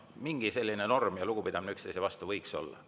Mingi selline norm ja lugupidamine üksteise vastu võiks olla.